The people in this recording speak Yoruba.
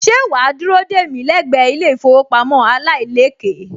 Ṣé wà á dúró dè mí lẹ́gbẹ̀ẹ́ ilé-ìfowópamọ́ aláìlékèé